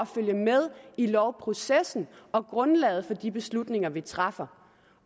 følge med i lovprocessen og grundlaget for de beslutninger vi træffer